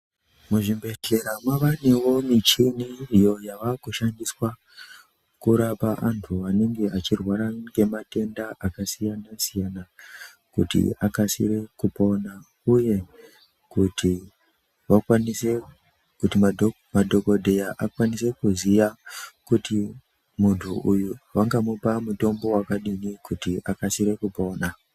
Muzvibhedhlera mavanevo michini iyo yavakushandiswa kurapa antu avo vanenge vachirwara ngematenda akasiyana-siyana. Kuti akasire kupona, uye kuti vakwanise kuti madhogodheya akwanise kuziya kuti muntu uyu vanga mupa mutombo vakadini kuti vakasire kupona.